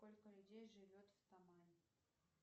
сколько людей живет в тамань